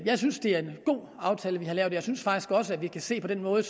jeg synes det er en god aftale vi har lavet jeg synes faktisk også at vi kan se at den måde